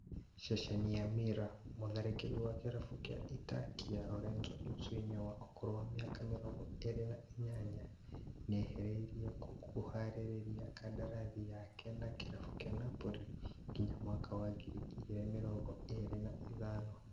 Ceceni ya Mirror, mũtharĩkĩri wa kĩrabu kĩa Itakia Lorenzo Insigne wa ũkũrũ wa mĩaka mĩrongo ĩrĩ na inyanya nĩeharĩrĩrie kũraihia kandarathi yake na kĩrabu kĩa Napoli nginya mwaka wa ngiri igĩrĩ mĩrongo ĩrĩ na ithano